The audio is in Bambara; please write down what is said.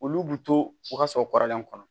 Olu bu to ka sɔrɔ kɔrɔlen kɔnɔ